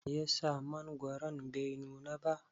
Meyasa mangwaron bai nuna ba?